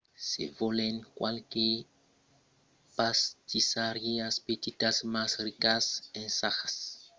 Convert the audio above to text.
se volètz qualques pastissariás petitas mas ricas ensajatz çò qu'en foncion de la region se sona berliner pfannkuchen o krapfen